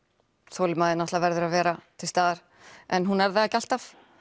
þolinmæðin verður að vera til staðar en hún er það ekki alltaf